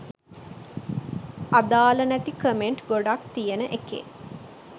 අදාල නැති කමෙන්ට් ගොඩක් තියෙන එකේ